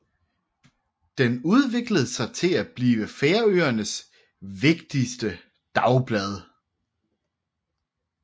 Den udviklede sig til at blive Færøernes vigtigste dagblad